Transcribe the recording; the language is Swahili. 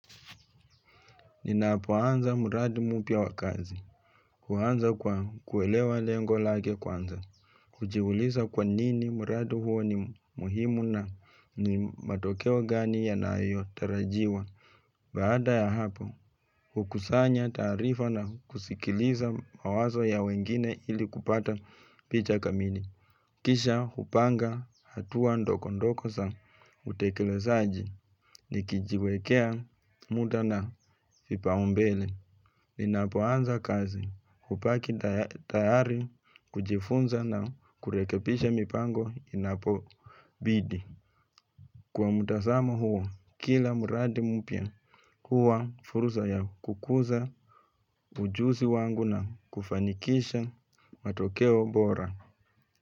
Ninapoanza mradu mpya wa kazi, huanza kwa kuelewa lengo lake kuanza, hujiuliza kwa nini mradi huo ni muhimu na ni matokeo gani yanayotarajiwa. Baada ya hapo, hukusanya taarifa na kusikiliza mawazo ya wengine ili kupata picha kamili. Kisha, hupanga hatua ndogondogo za utekelezaji, nikijiwekea muda na vipaumbele. Ninapoanza kazi hubaki tayari kujifunza na kurekebisha mipango inapobidi. Kwa mtazama huo, kila mradi mpya huwa fursa ya kukuza ujuzi wangu na kufanikisha matokeo bora.